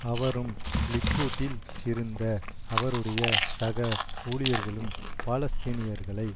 அவரும் லிக்குட்டில் இருந்த அவருடைய சக ஊழியர்களும் பாலஸ்தினீயர்களை